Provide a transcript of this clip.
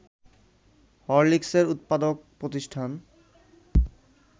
হরলিকসের উৎপাদক প্রতিষ্ঠান